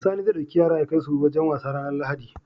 Sani zai dauki yara yakai su wajan wasa ranar lahadi